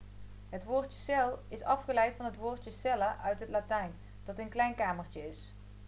het woordje cel' is afgeleid van het woordje cella' uit het latijn dat een klein kamertje is